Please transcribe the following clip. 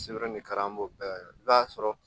Sɛbɛn de ka an b'o bɛɛ kɛ i b'a sɔrɔ